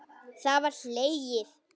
Það var hlegið.